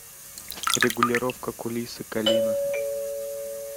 регулировка кулисы калина